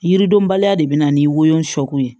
Yiridenbaliya de bɛ na ni woyoko ye